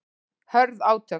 Hörð átök